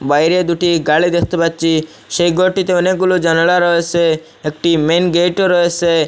বাইরে দুটি গাড়ি দেখতে পাচ্ছি সেই ঘরটিতে অনেকগুলো জানালা রয়েসে একটি মেন গেটও রয়েসে।